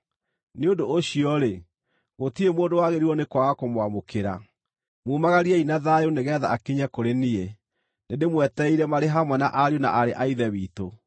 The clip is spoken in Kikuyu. Nĩ ũndũ ũcio-rĩ, gũtirĩ mũndũ wagĩrĩirwo nĩ kwaga kũmwamũkĩra. Mumagariei na thayũ nĩgeetha akinye kũrĩ niĩ. Nĩndĩmwetereire marĩ hamwe na ariũ na aarĩ a Ithe witũ.